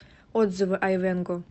отзывы айвенго